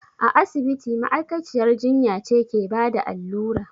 A asibiti ma'aikaciyar jinya ce ke bada allura